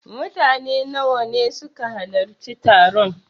Mutane nawa ne suka halarci taron?